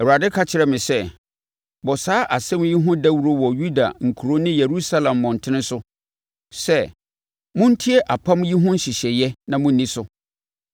Awurade ka kyerɛɛ me sɛ, “Bɔ saa asɛm yi ho dawuro wɔ Yuda nkuro ne Yerusalem mmɔntene so sɛ: ‘Montie apam yi ho nhyehyɛeɛ na monni so.